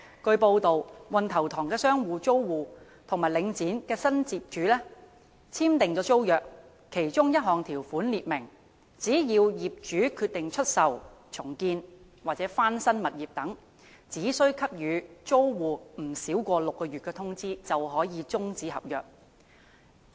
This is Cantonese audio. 據報道，運頭塘商場租戶與領展及新業主簽訂的租約的其中一項條款列明，只要業主決定出售、重建或翻新物業等，只需給予租戶不少於6個月的通知便可終止合約。